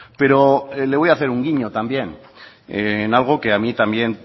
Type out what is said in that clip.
pero le voy a hacer un guiño también en algo que a mí también